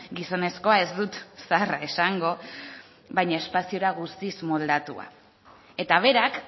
gizonezkoa ez dut zaharra esango baina espaziora guztiz moldatua eta berak